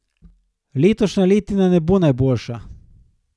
Letošnja letina ne bo najboljša.